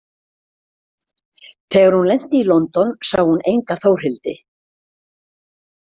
Þegar hún lenti í London sá hún enga Þórhildi.